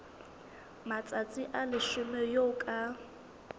matsatsi a leshome eo ka